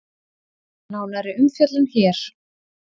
Nánari umfjöllun hér